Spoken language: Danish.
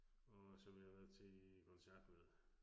Og som jeg har været til koncert med